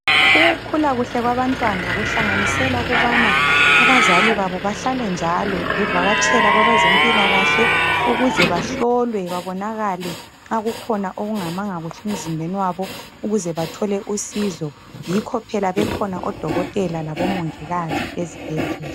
Ukukhula kuhle kwabantwana kuhlanganisela ukubana abazali babo bahlale njalo bevakatshela kwabazempilakahle ukuze bahlolwe babonakale nxa kukhona okungamanga kahle emzimbeni wabo ukuze bathole usizo. Yikho bekhona obongikazi labofokotela ezibhedlela.